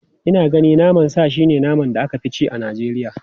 Ina ganin naman sa shi ne naman da aka fi ci a Najeriya.